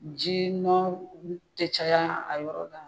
Jinɔ tɛ caya a yɔrɔ la.